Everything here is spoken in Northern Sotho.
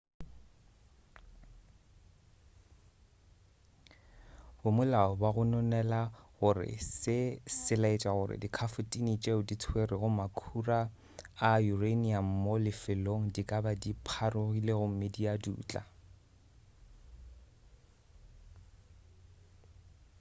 bamolao ba gononela gore se se laetša gore dikhafotine tšeo di tswerego makhura a uranium mo lefelong di ka ba dipharogile gomme di a dutla